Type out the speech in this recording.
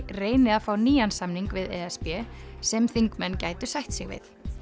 reyni að fá nýjan samning við e s b sem þingmenn gætu sætt sig við